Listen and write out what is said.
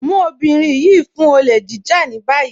Mú ọbìnrin yìí mú fún òlè jíjà ní bayí.